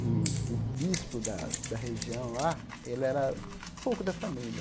E o bispo da da região lá, ele era pouco da família.